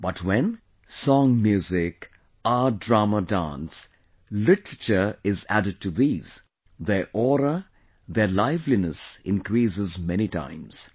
But when songmusic, art, dramadance, literature is added to these, their aura , their liveliness increases many times